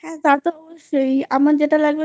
হ্যাঁ তা তো অবশ্যই আমার যা লাগবে